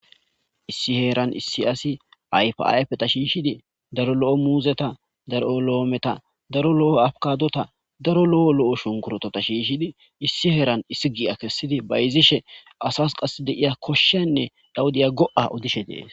Issi heeran issi asi ayfa ayfeta shiishshidi daro lo'o muuzeta, daro lo'o loometa, daro lo'o afkadota daro lo'o lo'o shunkurotota, shiishshidi issi heeran issi giya kessidi bayizishe asas qas deiya koshshenne dhawudiya go7a odishe dees.